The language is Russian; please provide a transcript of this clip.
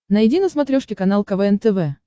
найди на смотрешке канал квн тв